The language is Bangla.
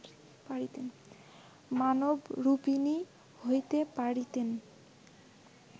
মানবরূপিণী হইতে পারিতেন